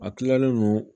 A kilalen no